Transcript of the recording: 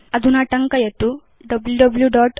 अधुना टङ्कयतु wwwgooglecom